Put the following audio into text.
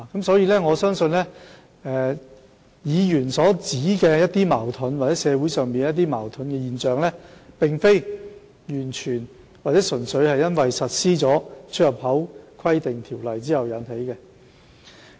所以，我相信議員所指的社會矛盾現象，並非純粹因實施《規例》而引起。